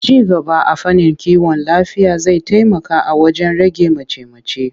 Ci gaba a fannin kiwon lafiya zai taimaka wajen rage mace-mace.